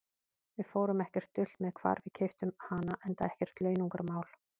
Við fórum ekkert dult með hvar við keyptum hana, enda ekkert launungarmál.